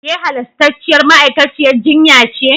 Ke halastarciyar ma'aikaciyar jinya ce?